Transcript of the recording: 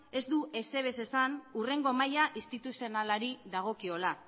ez du ezer ere esan hurrengo maila instituzionalari dagokiola